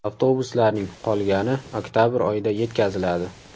Avtobuslarning qolgani oktabr oyida yetkaziladi.